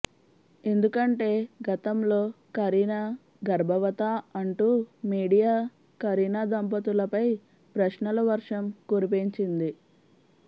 ఎందుకంటే గతంలో కరీనా గర్భవతా అంటూ మీడియా కరీనా దంపతులపై ప్రశ్నల వర్షం కురిపించింది